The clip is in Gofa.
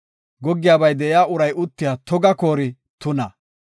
“Goggiyabay de7iya uray uttiya toga koori tuna.